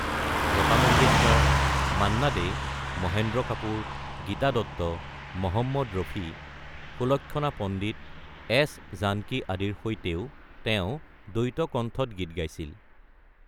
লতা Mangeshkar, Manna Dey, Mahendra Kapoor, Geeta Dutt, Mohammed Rafi, Sulakshana Pandit, S Janaki আদিৰ সৈতেও তেওঁ দ্বৈত কন্ঠত গীত গাইছিল।